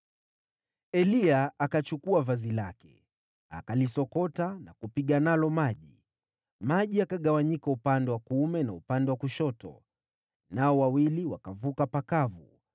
Eliya akachukua vazi lake, akalisokota na kupiga nalo maji. Maji yakagawanyika upande wa kuume na upande wa kushoto, nao wawili wakavuka pakavu.